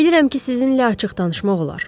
Bilirəm ki, sizinlə açıq danışmaq olar.